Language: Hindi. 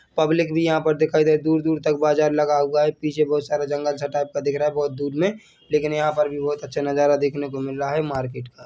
पब्लिक भी यहाँ पर दिखाई दे दूर-दूर तक बाजार लगा हुआ है पीछे बहुत सारा जंगल सा टाइप का दिख रहा है बहोत दूर मे लेकिन यहाँ पर भी बहुत अच्छा नजारा देखने को मिल रहा है मार्केट का।